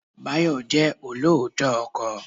Báyọ̀ jẹ́ olóòótọ́ ọkọ.